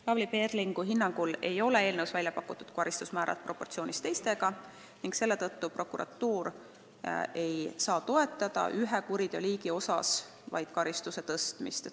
Lavly Perlingu hinnangul ei ole eelnõus välja pakutud karistusmäärad proportsioonis teistega ning selle tõttu prokuratuur ei saa toetada vaid üht liiki kuritegude eest karistuste karmistamist.